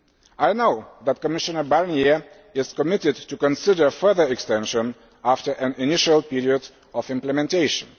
I know that Commissioner Barnier is committed to considering a further extension after an initial period of implementation.